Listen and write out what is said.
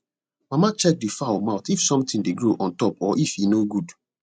mama check the fowl mouth if something dey grow on top or if e no good